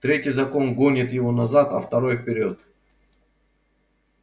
третий закон гонит его назад а второй вперёд